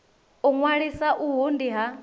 u ṅwalisa uhu ndi ha